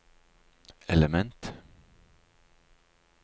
element